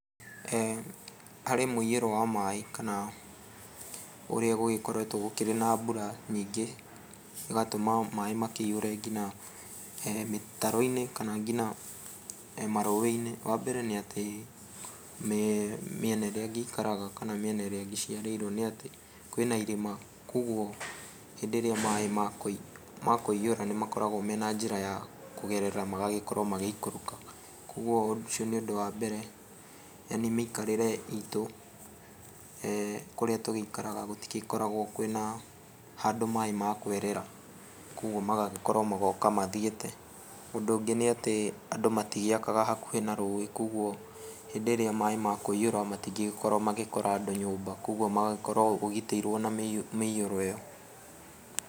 Harĩ mũiyũro wa maĩ kana ũrĩa gũgĩkoretwo gũkĩrĩ na mbura nyingĩ ĩgatũma maĩ makĩihũre nginya mĩtaro-inĩ kana nginya marũĩ-inĩ. Wambere nĩ atĩ mĩena ĩrĩa ngĩikaraga kana mĩena ĩrĩa ngĩciarĩirwo nĩ atĩ, kwĩna irĩma kuoguo hĩndĩ ĩrĩa maĩ makũiyũra nĩmakoragwo mena njĩra ya kũgerera magagĩkorwo magĩikũrũka, kuoguo ũcio nĩ ũndũ wa mbere, yaani mĩikarĩre itũ kũrĩa tũgĩikaraga gũtigĩkoragwo kwĩna handũ maĩ makwĩrĩra, kuoguo magagĩkorwo magoka mathiĩte. Ũndũ ũngĩ nĩatĩ andũ matigĩakaga hakuhĩ na rũĩ kuoguo hĩndĩ ĩrĩa maĩ makũiyũra matingĩgĩkorwo magĩkora andũ nyũmba, kuoguo magagĩkorwo ũgitĩirwo na mĩiyũro ĩyo.